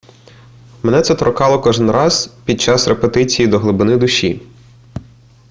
мене це торкало кожен раз під час репетиції до глибини душі